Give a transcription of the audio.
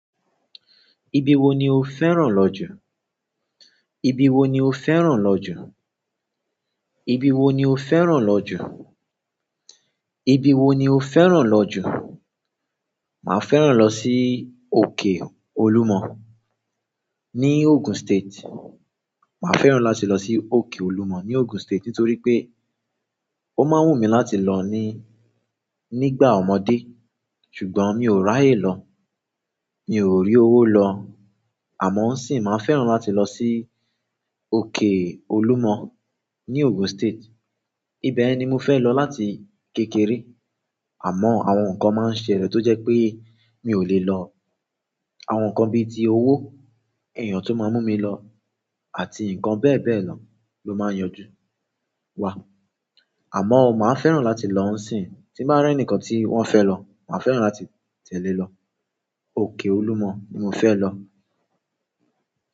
Ibi wo ni o fẹ́ràn lọ jù? Ibi wo ni o fẹ́ràn lọ jù? Ibi wo ni o fẹ́ràn lọ jù? Ibi wo ni o fẹ́ràn lọ jù? Màá fẹ́ràn lọ sí òkè Olúmọ ní Ogun State. Màá fẹ́ràn láti lọ sí òkè Olúmọ ní Ogun State, nítorí pé ó máa ń wù mí láti lọ ní, nígbà ọmọdé. Ṣùgbọ́n mi ò ráyè lọ. Mi ò rí owó lọ, àmọ sì máa fẹ́ràn láti lọ sí òkè Olúmọ ní Ogun State. Ibẹ̀yẹn ni mo fẹ́ lọ láti kékeré. Àmọ́ àwọn nǹkan máa ń ṣẹlẹ̀ tó jẹ́ pé mi ò lè lọ. Àwọn nǹkan bí i ti owó, èèyàn tó máa mú mi lọ àti nǹkan bẹ́ẹ̀ bẹ́ẹ̀ lọ ló máa ń yanjú wa. A mọ̀ ọ̀, máa fẹ́ràn láti lọ ní sí, tí ń bá rí ẹni kan tí wọ́n fẹ́ lọ, máa fẹ́ràn láti tẹ̀lé lọ. Òkè Olúmọ ni mo fẹ́ lọ.